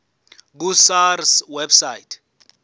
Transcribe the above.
ku sars website